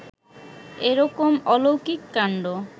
এরকম আলৌকিক কান্ড